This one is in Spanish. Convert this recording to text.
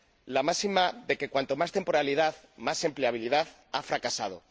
La máxima de que cuanta más temporalidad, más empleabilidad ha fracasado.